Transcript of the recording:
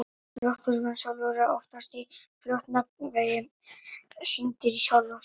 Lofthjúpurinn sjálfur er oftast í flotjafnvægi, syndir í sjálfum sér.